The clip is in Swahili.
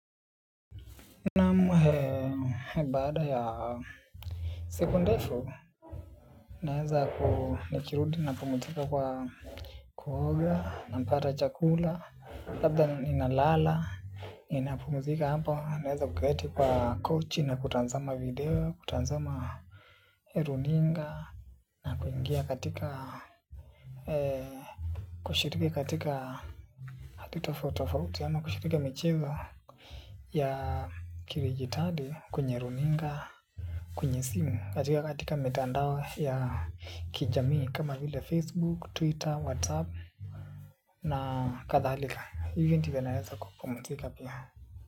Naamu baada ya siku ndefu nawezaku nikirudi na pumuzika kwa kuoga napata chakula labda ninalala ninapumzika hapo naweza kuketi kwa kochi na kutazama video kutazama runinga. Na kuingia katika kushiriki katika hadhi tofauti tofauti ama kushiriki michezo ya kidijitali kwenye runinga kwenye simu katika mitandao ya kijamii kama vile Facebook, Twitter, Whatsapp na kadhalika hivyo ndivyo naweza kupumzika pia.